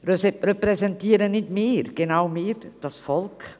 Repräsentieren nicht wir, genau wir, das Volk?